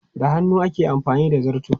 Da hannu ake amfani da zarto.